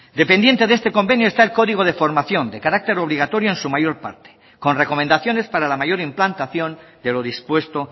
dependiente de este convenio está el código de formación de carácter obligatorio en su mayor parte con recomendaciones para la mayor implantación de lo dispuesto